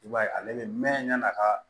I b'a ye ale bɛ mɛn yan'a ka